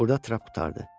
Burada trap qurtardı.